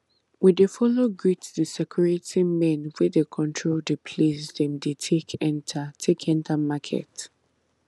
we dey follow greet the security men wey dey control the place dem dey take enter take enter market